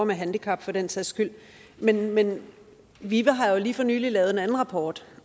med handicap for den sags skyld men men vive har jo lige for nylig lavet en anden rapport